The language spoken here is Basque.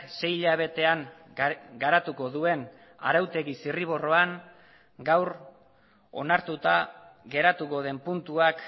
sei hilabetean garatuko duen arautegi zirriborroan gaur onartuta geratuko den puntuak